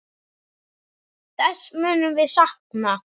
Þess munum við sakna.